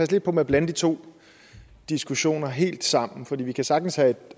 lidt på med at blande de to diskussioner helt sammen for vi kan sagtens have